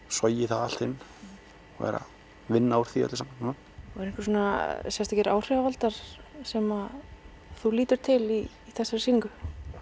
sogið það allt inn og er að vinna úr því öllu núna eru einhverjir sérstakir áhrifavaldar sem þú lítur til í þessari sýningu